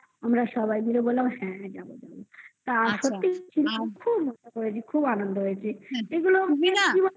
আমরা সবাই মিলে বললাম হ্যাঁ যাব যাব সত্যি খুব মজা করেছি খুব আনন্দ হয়েছে এগুলো তো